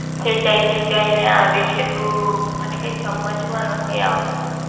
ખેંચાઈ ખેંચાઈ ને આવે છે તો મને કઈ સમાજ માં નથી આવતું.